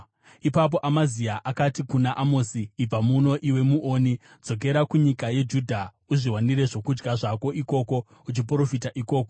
Ipapo Amazia akati kuna Amosi, “Ibva muno, iwe muoni! Dzokera kunyika yeJudha. Uzviwanire zvokudya zvako ikoko, uchiprofita ikoko.